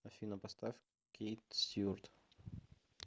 афина поставь кейт стюарт